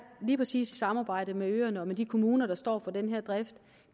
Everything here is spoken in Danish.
lige præcis i samarbejde med øerne og med de kommuner der står for den her drift